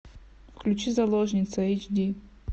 включи заложница эйч ди